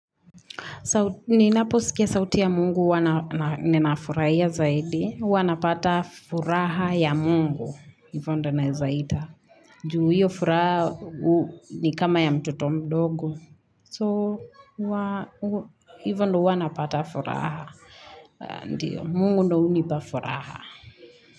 Ninapo sikia sauti ya mungu huwa nima furaia zaidi, hawa napata furaha ya mungu, hivondo naeza ita, juu hiyo furaha ni kama ya mtoto mdogo, so hivondo huwana pata furaha, mungu ndo unipa furaha.